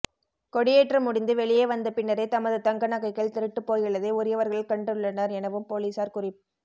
கொடியேற்றம் முடிந்து வெளியே வந்த பின்னரே தமது தங்க நகைகள் திருட்டுப் போயுள்ளதை உரியவர்கள் கண்டுள்ளனர் எனவும் பொலிஸார் குறிப்